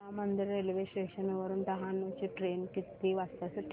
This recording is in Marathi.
राम मंदिर रेल्वे स्टेशन वरुन डहाणू ची ट्रेन किती वाजता सुटेल